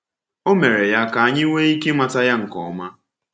O mere ya ka anyị nwee ike ịmata Ya nke ọma.